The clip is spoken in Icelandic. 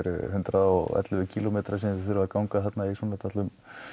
hundrað og ellefu kílómetrar sem þið þurfið að ganga þarna í svona dálitlum